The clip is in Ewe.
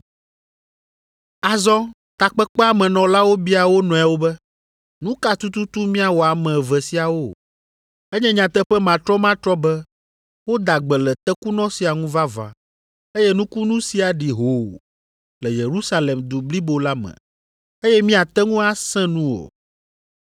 Azɔ Takpekpea me nɔlawo bia wo nɔewo be, “Nu ka tututu míawɔ ame eve siawo? Enye nyateƒe matrɔmatrɔ be woda gbe le tekunɔ sia ŋu vavã eye nukunu sia ɖi hoo le Yerusalem du blibo la me eye míate ŋu asẽ nu o.